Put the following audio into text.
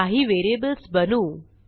काही व्हेरिएबल्स बनवू